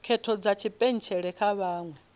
khetho dza tshipentshela kha vhaṅwe